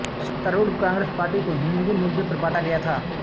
सत्तारूढ़ कांग्रेस पार्टी को हिंदी मुद्दे पर बांटा गया था